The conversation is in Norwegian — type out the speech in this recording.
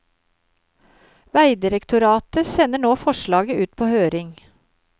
Vegdirektoratet sender nå forslaget ut på høring.